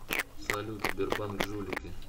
салют сбербанк жулики